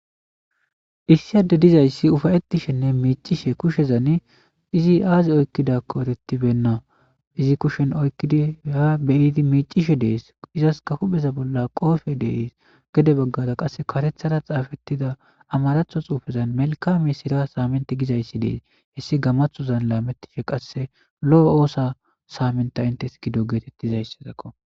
Issiyade dizayssi ufayettishenne miicishe kushezan izi aazi oykkidakko erettibenna izi kushen oykkidaeya beyiidi miicishe dees izaska hupheza bolla qoofe dees gede baggada qasse karethara xaafettida amaratho xuufezan melka me sira saamenti gizayssi dees hessi gamathozan laamettishe qasse lo'o oosa saamenta intes gido geetettizayssezakko.